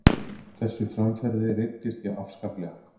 Þessu framferði reiddist ég afskaplega.